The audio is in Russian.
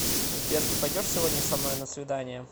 сбер ты пойдешь сегодня со мной на свидание